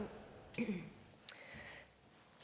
det